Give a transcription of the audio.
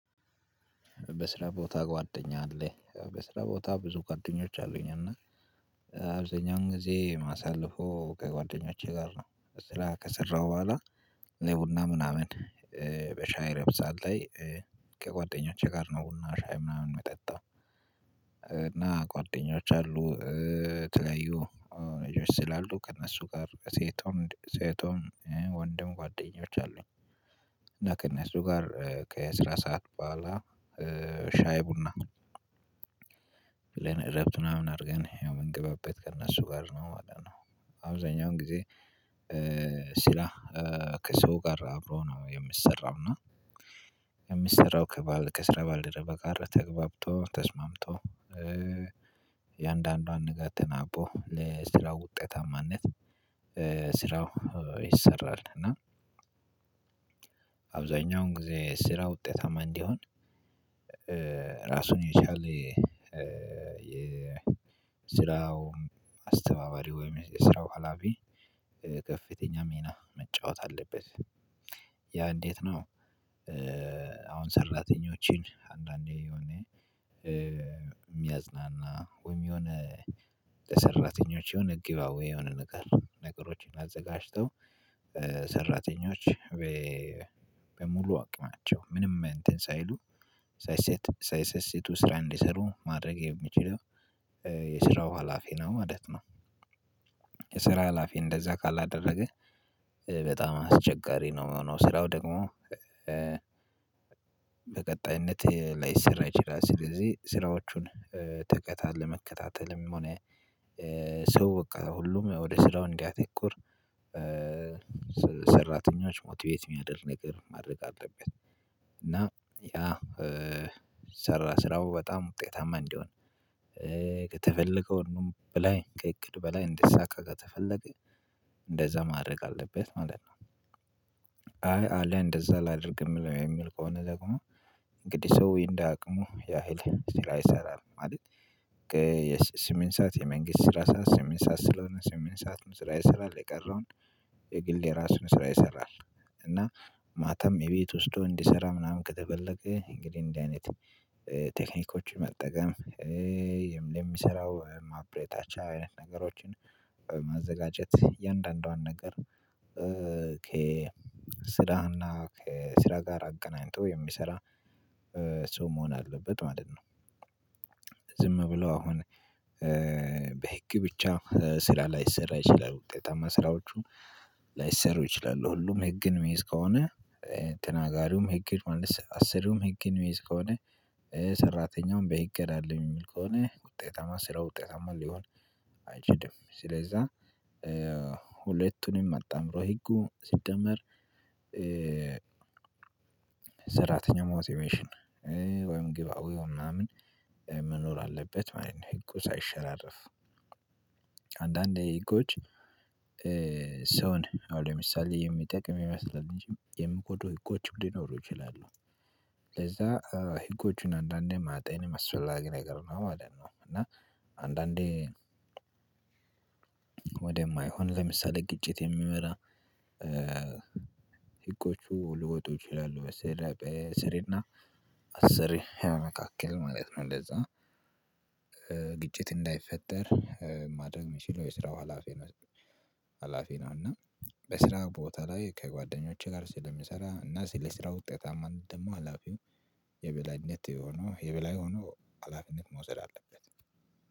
በስራ ቦታ ጓደኛ አለህ? ያው በስራ ቦታ ብዙ ጓደኞች አሉኝ እና አብዛኛውን ጊዜ ማሳልፈው ከጓደኞቼ ጋር ነው ስራ ከሰራሁ በኋላ ለቡና ምናምን በሻይ እረፍት ሰዓት ላይ ከጓደኞቼ ጋር ነው ቡና ሻይ ምናምን ነው የጠጣው እና ጓደኞች አሉ ተለዩ እጆች ስላሉ ከእነሱ ጋር ሴቶም ሴቶም ወንድም ጓደኞች አሉኝ እና ከእነሱ ጋር ከስራ ሰዓት በኋላ ሻይ ቡና እረፍት ምናምን አድርገን የምንገባበት ከእነሱ ጋር ነው ማለት ነው አብዛኛውን ጊዜ ስራ ከሰው ጋር አብሮ ነው የሚሰራው እና የሚሰራው ከስራ ባልደረባ ጋር ተግባብጦ ተስማምቶ የአንዳንዷን ነገር ተናቦ ለስራው ውጤታማነት ስራው ይሰራል እና አብዛኛውን ጊዜ ስራ ውጤታማ እንዲሆን ራሱን የቻለ የስራው አስተባባሪ ወይም የስራው ሀላፊ ከፍተኛ ሚና መጫወት አለበት ያ እንዴት ነው አሁን ሰራተኞችን አንዳንዴ የሆነ የሚያዝናና ወይም የሆነ ሰራተኞች የሆነ ጊቫዌይ የሆነ ነገር ነገሮችን አዘጋጅተው ሰራተኞች በሙሉ አቅማቸው ምንም እንትን ሳይሉ ሳይሰስት ሳይሰስት ስራ እንዲሰሩ ማድረግ የሚችለው የስራው ሀላፊ ነው ማለት ነው የስራ ሀላፊ እንደዛ ካላደረገ በጣም አስቸጋሪ ነው የሚሆነው ስራው ደግሞ በቀጣይነት ላይሰራ ይችላል ስለዚህ ስራዎቹን ተከታት ለመከታተልም ሆነ ሰው በቃ ሁሉም ወደ ስራው እንዲያተኩር ሰራተኞች ሞቲቬት የሚያደርግ ነገር ማድረግ አለበት እና ያ ሰራ ስራው በጣም ውጤታማ እንዲሆን ከተፈለገው በላይ ከእቅድ በላይ እንዲሳካ ከተፈለገ እንደዛ ማድረግ አለበት ማለት ነው አይ አለ እንደዛ ላድርግ የምለው የሚል ከሆነ ደግሞ እንግዲህ ሰው እንደ አቅሙ ያህል ስራ ይሰራል ማለት የስምንት ሰዓት የመንግስት ስራ ሰዓት ስምንት ሰዓት ስለሆነ ስምንት ሰዓት ስራ ይሰራል የቀረውን የግል የራሱን ስራ ይሰራል እና ማታም የቤት ወስዶ እንዲሰራ ምናምን ከተፈለገ እንግዲህ እንደዚህ አይነት ቴክኒኮች መጠቀም የሚሰራው ማብረታቻ አይነት ነገሮችን ማዘጋጀት የእያንዳንዷን ነገር ከስራና ከስራ ጋር አገናኝቶ የሚሰራ ሰው መሆን አለበት ማለት ነው ዝም ብሎ አሁን በህግ ብቻ ስራ ላይሰራ ይችላል ውጤታማ ስራዎቹ ላይሰሩ ይችላሉ ሁሉም ህግን እሚይዝ ከሆነ ተናጋሪውም ህግ አሰሪውም ህግን እሚይዝ ከሆነ ሰራተኛውን በይገራልኝ የሚል ከሆነ ውጤታማ ስራ ውጤታማ ሊሆን አይችልም ስለዛ ሁለቱንም አጣምሮ ህጉ ሲደመር ሰራተኛው ሞቲቫሽን ወይም ግቭአዌው ምናምን መኖር አለበት ማለት ነው ህጉ ሳይሸራረፍ አንዳንዴ ህጎች ሰውን አሁን ለምሳሌ የሚጠቅም ይመስላል የምኮዱ ህጎች ሊኖሩ ይችላሉ ለዛ ህጎቹን አንዳንዴ ማጤን መስፈላጊ ነገር ነው ማለት ነው እና አንዳንዴ ወደማይሆን ለምሳሌ ግጭት የሚመራ ሲቆጩ ልውጡ ይችላሉ በስር እና አስር መካከል ማለት ነው ለዛ ግጭት እንዳይፈጠር ማድረግ የሚችለው የስራው ሀላፊ ነው ሀላፊ ነው እና በስራ ቦታ ላይ ከጓደኞቼ ጋር ስለሚሰራ እና ስለ ስራ ውጤታማ እንደው ደግሞ ሀላፊው የበላይነት የሆነው የበላይ ሆኖ ሀላፊነት መውሰድ አለበት